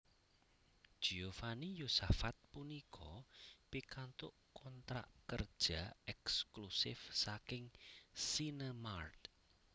Giovanni Yosafat punika pikantuk kontrak kerja èksklusif saking Sinemart